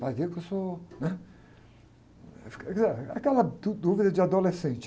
Vai ver que eu sou, né? Aí, ficou ah, aquela dúvida de adolescente.